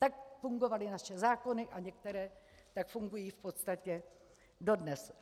Tak fungovaly naše zákony a některé tak fungují v podstatě dodnes.